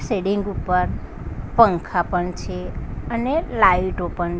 siding ઉપર પંખા પણ છે અને લાઈટો પણ--